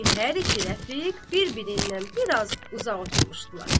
Çünki hər iki rəfiq bir-birindən bir az uzaq oturmuşdular.